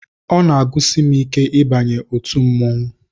Ọ na-agụsi m ike ịbanye n'otu mmọnwụ